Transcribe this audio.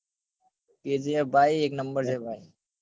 kgf ભાઈ એક number હે ભાઈ